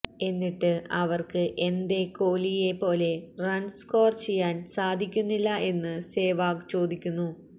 എന്നിട്ട് അവര്ക്ക് എന്തേ കോഹ് ലിയെ പോലെ റണ്സ് സ്കോര് ചെയ്യാന് സാധിക്കുന്നില്ലാ എന്ന് സെവാഗ് ചോദിക്കുന്നു